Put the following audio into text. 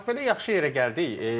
Bax, belə yaxşı yerə gəldik.